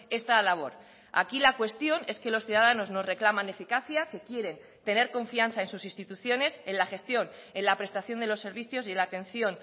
esta labor aquí la cuestión es que los ciudadanos nos reclaman eficacia que quieren tener confianza en sus instituciones en la gestión en la prestación de los servicios y la atención